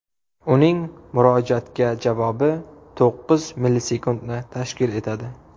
Uning murojaatga javobi to‘qqiz millisekundni tashkil etadi.